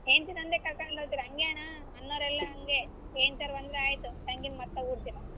ಹೆಂಡ್ತಿನೊಂದೆ ಕರಕೊಂಡ್ ಹೋದ್ರೆ ಹಂಗೆ ಅಣ್ಣಾ ಅಣ್ಣೋರೆಲ್ಲ ಹಂಗೆ ಹೆಂಡ್ತೀರ್ ಬಂದ್ರೆ ಆಯ್ತು ತಂಗಿನ ಮರ್ತೆ ಬಿಡ್ತೀರಾ.